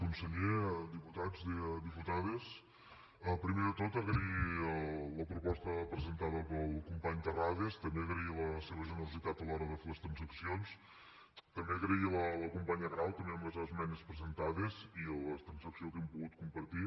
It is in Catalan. conseller diputats diputades primer de tot agrair la proposta presentada pel company terrades també agrair la seva generositat a l’hora de fer les transaccions també donar les gràcies a la companya grau també amb les esmenes presentades i la transacció que hem pogut compartir